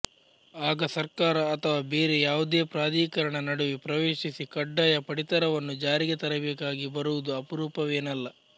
ಆಗ ಸರ್ಕಾರ ಅಥವಾ ಬೇರೆ ಯಾವುದೇ ಪ್ರಾಧಿಕರಣ ನಡುವೆ ಪ್ರವೇಶಿಸಿ ಕಡ್ಡಾಯ ಪಡಿತರವನ್ನು ಜಾರಿಗೆ ತರಬೇಕಾಗಿ ಬರುವುದು ಅಪರೂಪವೇನಲ್ಲ